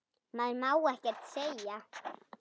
Maður má ekkert segja.